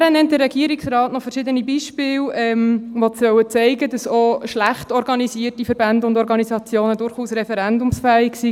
Weiter nennt der Regierungsrat noch verschiedene Beispiele, die aufzeigen sollen, dass auch schlecht organisierte Verbände und Organisationen durchaus referendumsfähig sind.